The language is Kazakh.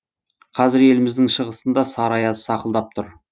қазір еліміздің шығысында сары аяз сақылдап тұр